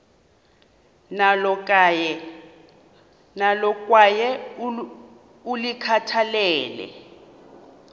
nalo kwaye ulikhathalele